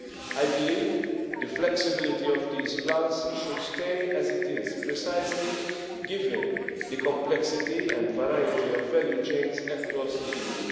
I believe the flexibility of these plans should stay as it is, precisely given the complexity and variety of value chains across the